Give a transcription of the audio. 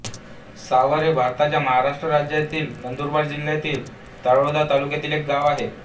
सावर हे भारताच्या महाराष्ट्र राज्यातील नंदुरबार जिल्ह्यातील तळोदा तालुक्यातील एक गाव आहे